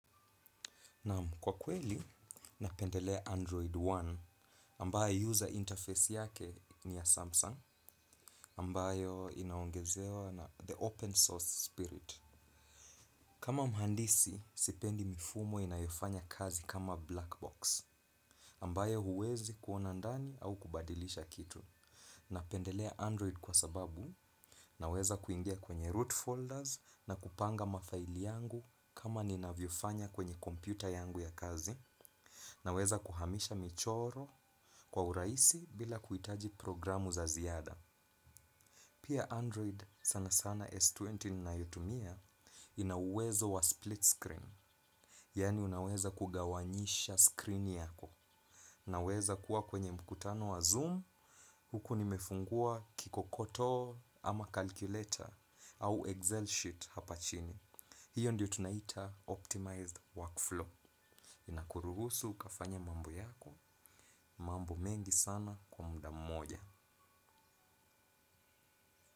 Naam kwa kweli, napendelea Android One ambayo user interface yake ni ya Samsung ambayo inaongezewa na the open source spirit. Kama mhandisi, sipendi mifumo inayofanya kazi kama black box ambayo huwezi kuona ndani au kubadilisha kitu. Napendelea Android kwa sababu naweza kuingia kwenye root folders na kupanga mafaili yangu kama ninavyofanya kwenye kompyuta yangu ya kazi. Naweza kuhamisha michoro kwa urahisi bila kuhitaji programu za ziada. Pia Android sana sana S20 na mia nane ina uwezo wa split screen. Yaani unaweza kugawanyisha screen yako. Naweza kuwa kwenye mkutano wa Zoom huku nimefungua kikokotoo ama calculator au Excel sheet hapa chini. Hiyo ndiyo tunaita Optimized Workflow. Inakuruhusu ukafanye mambo yako mambo mengi sana kwa muda mmoja.